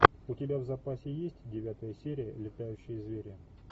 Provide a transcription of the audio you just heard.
у тебя в запасе есть девятая серия летающие звери